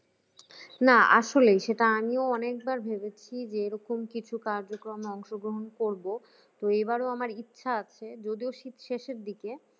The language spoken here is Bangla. না আসলেই সেটা আমিও অনেকবার ভেবেছি যে এরকম কিছু কাজে অংশগ্রহণ করব তো এবারও আমার ইচ্ছা আছে যদিও শীত শেষের দিকে